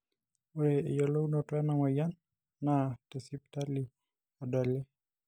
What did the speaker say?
ore eyiolounoto ena moyian naa te sipitali edoli.